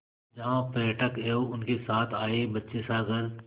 जहाँ पर्यटक एवं उनके साथ आए बच्चे सागर